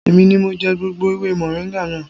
Èmi ni mo jẹ gbogbo ewé mọ̀ríńgà náà